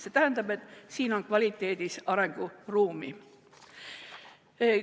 See tähendab, et siin on kvaliteedis arenguruumi.